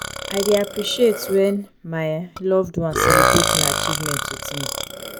i dey appreciate when my um loved ones celebrate my achievements with me.